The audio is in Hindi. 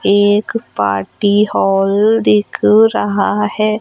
एक पार्टी हॉल दिख रहा है।